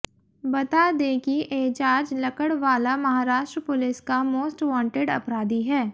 बता दें कि एजाज लकड़वाला महाराष्ट्र पुलिस का मोस्ट वॉन्टेड अपराधी है